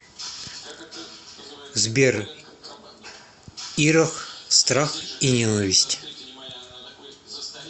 сбер ирох страх и ненависть